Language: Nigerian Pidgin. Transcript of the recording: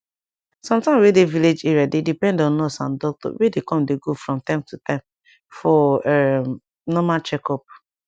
some town wey dey village area dey depend on nurse and doctor wey dey com dey go from time to time for um normal checkup